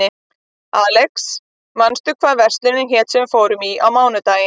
Alexis, manstu hvað verslunin hét sem við fórum í á mánudaginn?